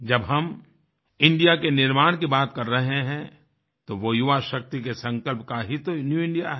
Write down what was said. जब हम इंडिया के निर्माण की बात कर रहे हैं तो वो युवा शक्ति के संकल्प का ही तो न्यू इंडिया है